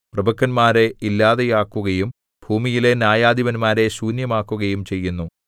പ്രഭുക്കന്മാരെ ഇല്ലാതെയാക്കുകയും ഭൂമിയിലെ ന്യായാധിപന്മാരെ ശൂന്യമാക്കുകയും ചെയ്യുന്നു